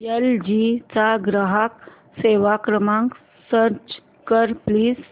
L G चा ग्राहक सेवा क्रमांक सर्च कर प्लीज